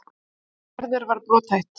Gerður var brothætt.